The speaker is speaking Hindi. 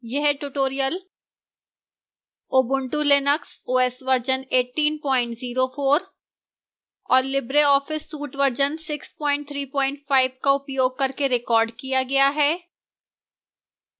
यह tutorial ubuntu linux os version 1804 और libreoffice suite वर्जन 635 का उपयोग करके recorded किया गया है